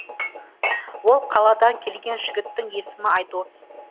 ол қаладан келген жігіттің есімі айдос